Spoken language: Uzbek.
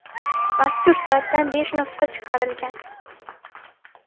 Mazkur soatdan besh nusxa chiqarilgan.